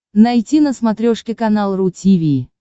найти на смотрешке канал ру ти ви